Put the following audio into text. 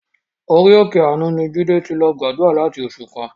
Orí òkè àánú ni Jídé ti lọ gbàdúrà láti oṣù kan.